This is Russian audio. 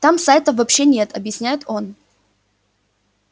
там сайтов вообще нет объясняет он